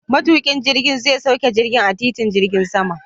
Matuƙin jirgin zai sauke jirgin a titin jirgin saman.